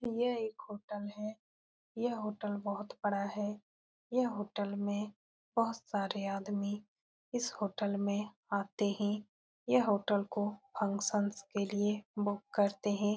ये एक होटल है यह होटल बहुत बड़ा है यह होटल में बहुत सारे आदमी इस होटल में आते है यह होटल को फंक्शन्स के लिए बुक करते है।